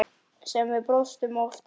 Sem við brostum oft yfir.